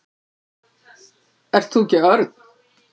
Ert þú ekki Örn?